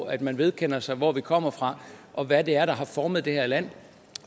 at man vedkender sig hvor vi kommer fra og hvad det er der har formet det her land